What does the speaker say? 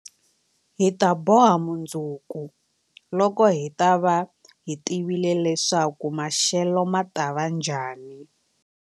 Hi ta boha mundzuku, loko hi ta va hi tivile leswaku maxelo ma ta va njhani.